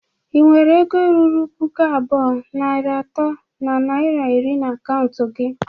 Ị nwere ego ruru puku abụọ, narị atọ na naira iri na akaụntụ gi?